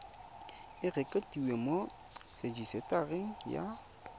e rekotiwe mo rejisetareng ya